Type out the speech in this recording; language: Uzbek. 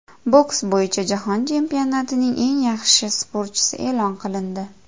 Boks bo‘yicha Jahon chempionatining eng yaxshi sportchisi e’lon qilindi.